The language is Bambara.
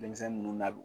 Denmisɛnnin ninnu na bi